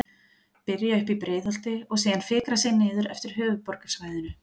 Byrja uppi í Breiðholti og síðan fikra sig niður eftir höfuðborgarsvæðinu.